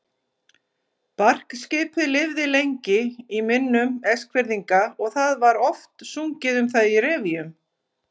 Barkskipið lifði lengi í minnum Eskfirðinga og það var oft sungið um það í revíum.